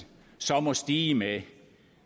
så må stige med